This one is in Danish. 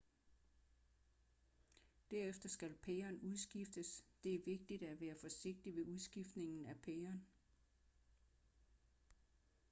derefter skal pæren udskiftes det er vigtigt at være forsigtig ved udskiftning af pæren